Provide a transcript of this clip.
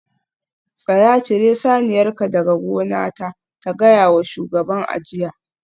Tsaya! cire saniyarka daga gonata ta gaya wa shugaban a jiya